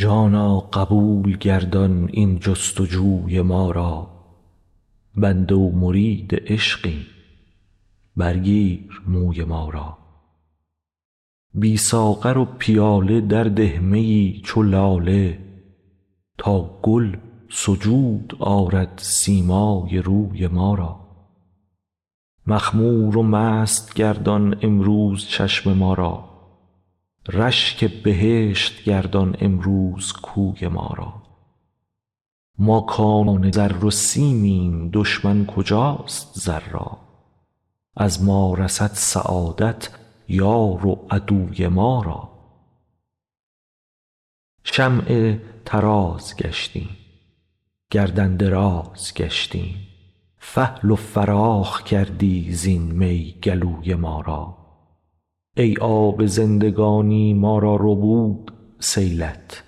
جانا قبول گردان این جست و جوی ما را بنده و مرید عشقیم برگیر موی ما را بی ساغر و پیاله درده میی چو لاله تا گل سجود آرد سیمای روی ما را مخمور و مست گردان امروز چشم ما را رشک بهشت گردان امروز کوی ما را ما کان زر و سیمیم دشمن کجاست زر را از ما رسد سعادت یار و عدوی ما را شمع طراز گشتیم گردن دراز گشتیم فحل و فراخ کردی زین می گلوی ما را ای آب زندگانی ما را ربود سیلت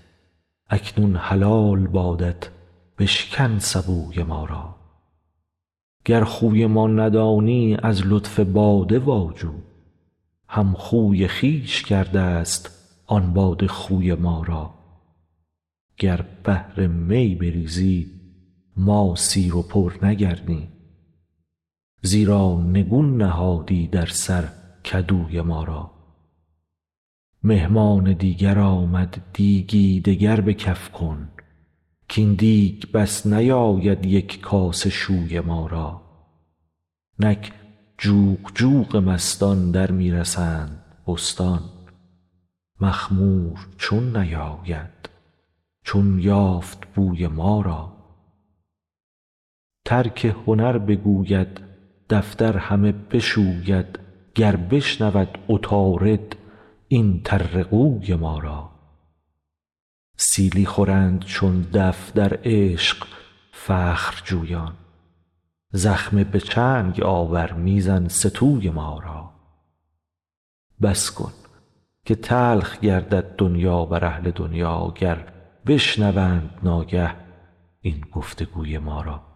اکنون حلال بادت بشکن سبوی ما را گر خوی ما ندانی از لطف باده واجو همخوی خویش کرده ست آن باده خوی ما را گر بحر می بریزی ما سیر و پر نگردیم زیرا نگون نهادی در سر کدوی ما را مهمان دیگر آمد دیگی دگر به کف کن کاین دیگ بس نیاید یک کاسه شوی ما را نک جوق جوق مستان در می رسند بستان مخمور چون نیاید چون یافت بوی ما را ترک هنر بگوید دفتر همه بشوید گر بشنود عطارد این طرقوی ما را سیلی خورند چون دف در عشق فخرجویان زخمه به چنگ آور می زن سه توی ما را بس کن که تلخ گردد دنیا بر اهل دنیا گر بشنوند ناگه این گفت و گوی ما را